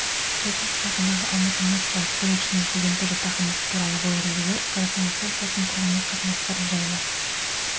чайковский атындағы алматы музыкалық колледжінің студенттік жатақханасы туралы бұл ережелер қазақстан республикасының тұрғын үй қатынастары жайлы